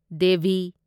Devi